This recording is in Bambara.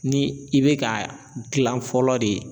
Ni i bɛ ka gilan fɔlɔ de